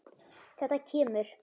Þetta kemur.